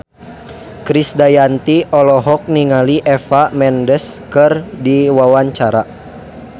Krisdayanti olohok ningali Eva Mendes keur diwawancara